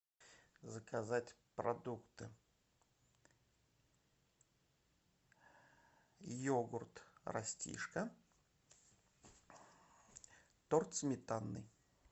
заказать продукты йогурт растишка торт сметанный